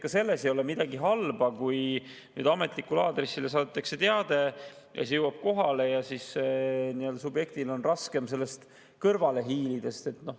Ka selles ei ole midagi halba, kui ametlikule aadressile saadetakse teade, see jõuab kohale ja subjektil on raskem sellest kõrvale hiilida.